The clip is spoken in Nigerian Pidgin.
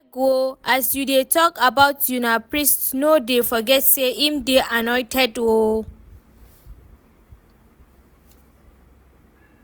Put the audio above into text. Abeg oo as you dey talk about una priest no dey forget say im dey annointed oo